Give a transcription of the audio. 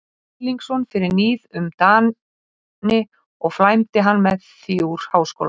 Erlingsson fyrir níð um Dani og flæmdi hann með því úr háskóla.